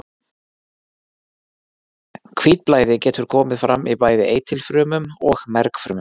Hvítblæði getur komið fram í bæði eitilfrumum og mergfrumum.